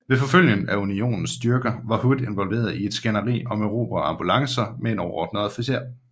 Ved forfølgelsen af Unionens styrker var Hood involveret i et skænderi om erobrede ambulancer med en overordnet officer